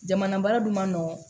Jamana baara dun man nɔgɔn